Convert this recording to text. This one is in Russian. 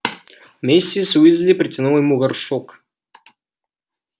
миссис уизли протянула ему горшок